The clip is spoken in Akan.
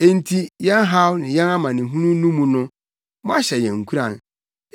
Enti yɛn haw ne yɛn amanehunu no mu no, moahyɛ yɛn nkuran,